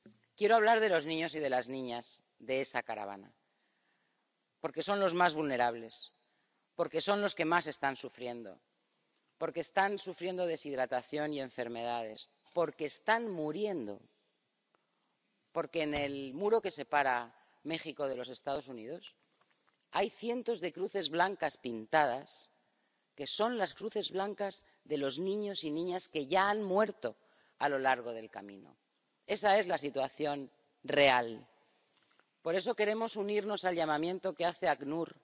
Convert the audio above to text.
Quiero hablar de los niños y de las niñas de esa caravana, porque son los más vulnerables, porque son los que más están sufriendo, porque están sufriendo deshidratación y enfermedades, porque están muriendo, porque en el muro que separa México de los Estados Unidos hay cientos de cruces blancas pintadas, que son las cruces blancas de los niños y niñas que ya han muerto a lo largo del camino. Esa es la situación real. Por eso queremos unirnos al llamamiento que hace el ACNUR,